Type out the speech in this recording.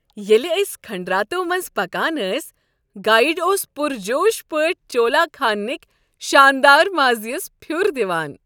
ییٚلہ أسۍ کھنڈراتو منٛزِ پكان ٲسۍ گایڈ اوس پُر جوش پٲٹھۍ چولا خانک شاندار ماضی یس پھِیوٗر دِوان۔